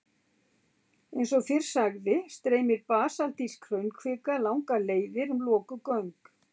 Eins og fyrr sagði streymir basaltísk hraunkvika langar leiðir um lokuð göng.